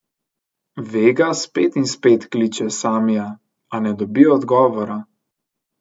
Vega spet in spet kliče Samija, a ne dobi odgovora.